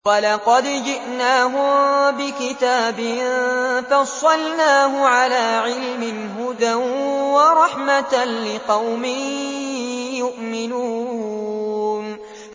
وَلَقَدْ جِئْنَاهُم بِكِتَابٍ فَصَّلْنَاهُ عَلَىٰ عِلْمٍ هُدًى وَرَحْمَةً لِّقَوْمٍ يُؤْمِنُونَ